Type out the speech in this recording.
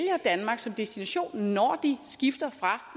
danmark som destination når de skifter fra